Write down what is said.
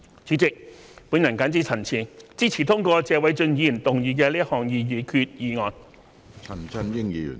主席，我謹此陳辭，支持通過謝偉俊議員動議的擬議決議案。